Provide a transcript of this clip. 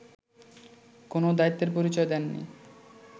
কোন দায়িত্বের পরিচয় দেননি